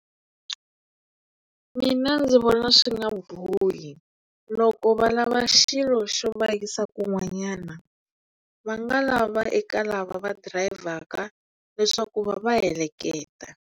Mina ndzi vona swi nga bohi loko va lava xilo xo va yisa kun'wanyana va nga lava eka lava va dirayivhaka leswaku va va heleketa.